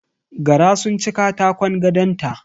Gara sun ci katakon gadonta